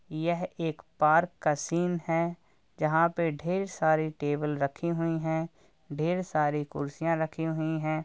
यह एक पार्क का सीन है जहाँ पर ढेर सारे टेबल रखे हुए हैं ढेर सारी कुर्सियां रखी हुई हैं ।